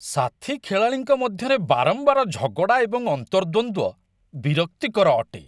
ସାଥୀ ଖେଳାଳିଙ୍କ ମଧ୍ୟରେ ବାରମ୍ବାର ଝଗଡ଼ା ଏବଂ ଅନ୍ତର୍ଦ୍ୱନ୍ଦ୍ୱ ବିରକ୍ତିକର ଅଟେ।